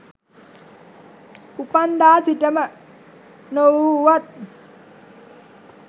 උපන්දා සිටම නොවූවත්